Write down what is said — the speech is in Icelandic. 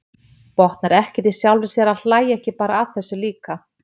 Botnar ekkert í sjálfri sér að hlæja ekki bara að þessu líka.